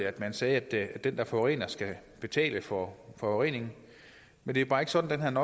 at man sagde at den der forurener skal betale for forureningen men det er bare ikke sådan